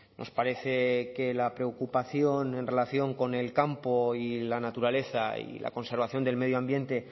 nos parece que la preocupación en relación con el campo y la naturaleza y la conservación del medio ambiente